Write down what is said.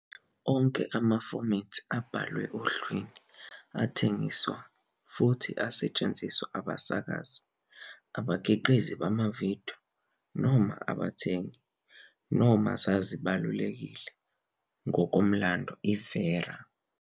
Onke amafomethi abhalwe ohlwini athengiselwa futhi asetshenziswa abasakazi, abakhiqizi bamavidiyo noma abathengi, noma zazibalulekile ngokomlando, i-VERA.